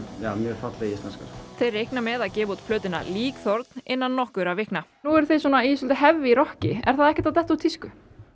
falleg íslenska þeir reikna með gefa út plötuna innan nokkurra vikna nú eruð þið í svolítið heavy rokki er það ekkert að detta úr tísku nei